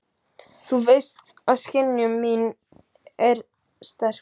Þú veist að skynjun mín er sterk.